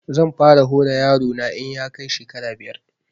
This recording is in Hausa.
Zan fara hora yaro na in ya kai shekara biyar